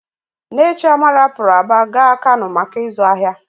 Nne Chioma rapuru Aba gaa Kano maka ịzụ ahịa.